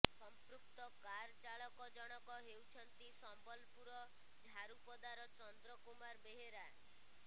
ସମ୍ପୃକ୍ତ କାର ଚାଳକ ଜଣକ ହେଉଛନ୍ତି ସମ୍ବଲପୁର ଝାରୁପଦାର ଚନ୍ଦ୍ର କୁମାର ବେହେରା